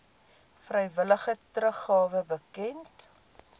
vrywillige teruggawe bekend